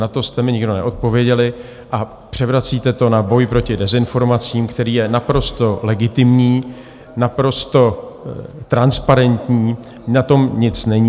Na to jste mi nikdo neodpověděli a převracíte to na boj proti dezinformacím, který je naprosto legitimní, naprosto transparentní, na tom nic není.